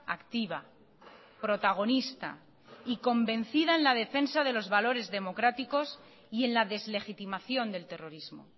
activa protagonista y convencida en la defensa de los valores democráticos y en la deslegitimación del terrorismo